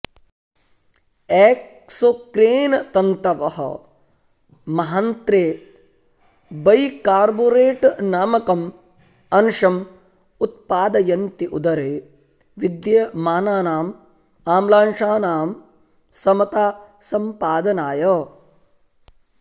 एक्सोक्रेनतन्तवः महान्त्रे बैकार्बोरेटनामकम् अंशम् उत्पादयन्ति उदरे विद्यमानानाम् आम्लांशानां समतासम्पादनाय